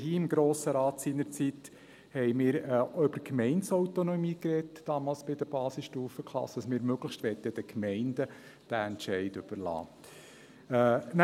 Wir haben hier im Grossen Rat seinerzeit über die Gemeindeautonomie gesprochen, damals bei den Basisstufenklassen, dass wir möglichst den Gemeinden diesen Entscheid überlassen möchten.